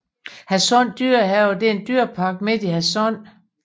Hadsund Dyrehave er en dyrepark midt i Hadsund